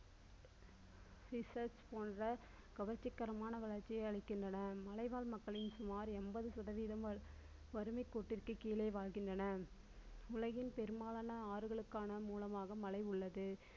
research போன்ற கவர்ச்சிகரமான வளர்ச்சிகளை அளிக்கின்றனர் மலைவாழ் மக்களின் சுமார் என்பது சதவீதம் வறுமை கோட்டிற்கு கீழே வாழ்கின்றனர். உலகில் பெரும்பாலான ஆறுகளுக்கான மூலமாக மலை உள்ளது